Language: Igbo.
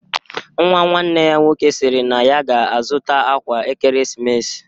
Nwa nwanne ya nwoke sịrị na ya ga-azụta akwa ekeresimesi